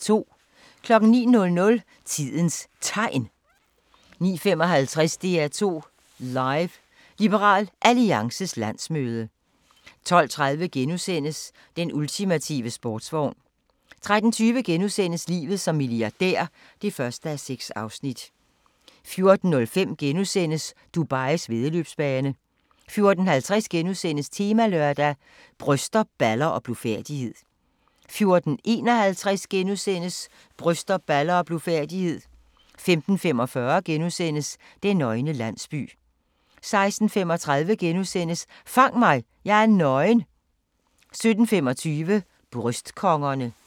09:00: Tidens Tegn 09:55: DR2 Live: Liberal Alliances landsmøde 12:30: Den ultimative sportsvogn * 13:20: Livet som milliardær (1:6)* 14:05: Dubais væddeløbsbane * 14:50: Temalørdag: Bryster, baller og blufærdighed * 14:51: Bryster, baller og blufærdighed * 15:45: Den nøgne landsby * 16:35: Fang mig – jeg er nøgen! * 17:25: Bryst-kongerne